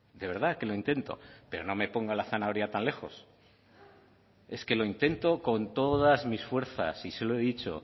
de verdad que lo intento pero no me ponga la zanahoria tan lejos es que lo intento con todas mis fuerzas y se lo he dicho